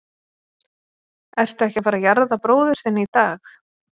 Ertu ekki að fara að jarða bróður þinn í dag?